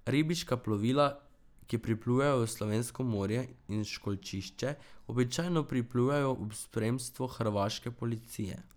Ribiška plovila, ki priplujejo v slovensko morje in v školjčišče običajno priplujejo v spremstvu hrvaške policije.